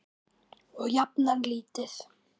Og jafnan lítið.